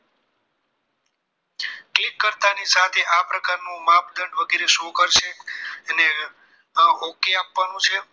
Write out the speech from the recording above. કરતા ની સાથે આ પ્રકારનું માપદંડ વગેરે show કરશે અને આ okay આપવાનું છે